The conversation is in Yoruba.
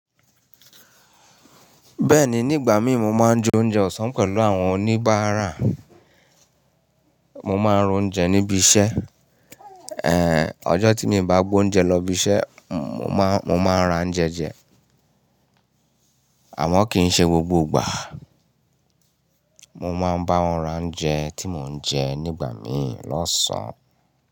Bẹ́ẹ̀ni, nígbà mí mo máa ń jẹ oúnjẹ ọ̀sán pẹ̀lú àwọn oníbàárà. Mo máa ń ro oúnjẹ níbi iṣẹ́. Ọjọ́ tíì mi i bá gbé oúnjẹ lọ ibiṣẹ́, mo máa ń ra ouńjẹ jẹ, àmọ́ kì í ṣe gbogbo ìgbà. Mo máa ń bá wọn ra ouńjẹ tí mo ń jẹ nígbà mí lọ́sàn-án.